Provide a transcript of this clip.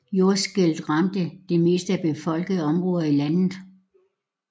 Jordskælvet ramte i det mest befolkede område i landet